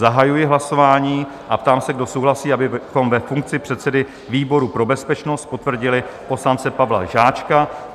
Zahajuji hlasování a ptám se, kdo souhlasí, abychom ve funkci předsedy výboru pro bezpečnost potvrdili poslance Pavla Žáčka?